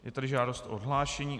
Je tady žádost o odhlášení.